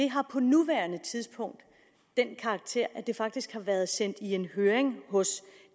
har på nuværende tidspunkt den karakter at det faktisk har været sendt i en høring hos